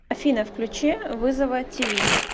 афина включи вызова ти ви